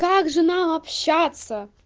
как же нам общаться